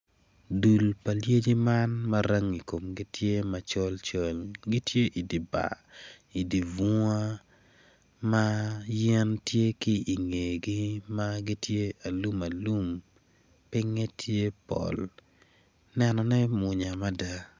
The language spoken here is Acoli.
Dul pa lyeci man ma rangi komgi tye macol col gittye idi bar idi bunga man ma yen tye ki ingegi ma gitye aluma lum pinge tye pol nenone mwonya mada.